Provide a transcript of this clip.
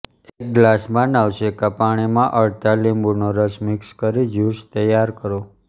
એક ગ્લાસમાં નવશેકા પાણીમાં અડધા લીંબૂનો રસ મિક્સ કરી જ્યૂસ તૈયાર કરો